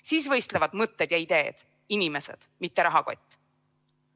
Siis võistlevad mõtted ja ideed, inimesed, mitte rahakott.